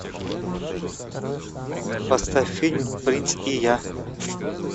поставь фильм принц и я